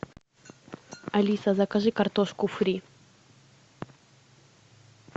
алиса закажи картошку фри